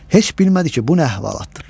Heç bilmədi ki, bu nə əhvalatdır.